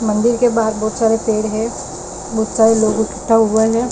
मंदिर के बाहर बहोत सारे पेड़ है बहोत सारे लोग इकट्ठा हुआ है।